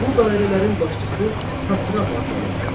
Bu dairələrin başçısı satrap adlanırdı.